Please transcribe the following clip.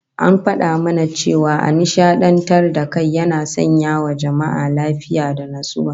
An fada mana cewa ashin nishadantar da kai yana sanyawa jama'a lafiya da natsuwa